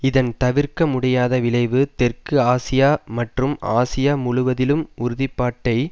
இதன் தவிர்க்க முடியாத விளைவு தெற்கு ஆசியா மற்றும் ஆசியா முழுவதிலும் உறுதி பாட்டை